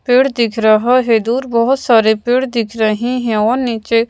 पेड़ दिख रहा है। दूर बहुत सारे पेड़ दिख रहे हैं और नीचे--